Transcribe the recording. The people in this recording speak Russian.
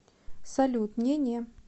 салют не не